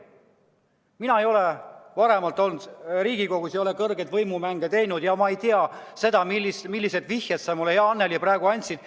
Mina ei ole varem Riigikogus olnud, ma ei ole kõrgeid võimumänge mänginud ja ma ei tea, millised vihjed sa mulle, hea Annely, praegu andsid.